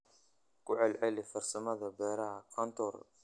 Ku celceli farsamada beerashada kontour.